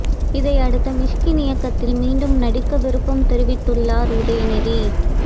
இதையடுத்து மிஷ்கின் இயக்கத்தில் மீண்டும் நடிக்க விருப்பம் தெரிவித்துள்ளார் உதயநிதி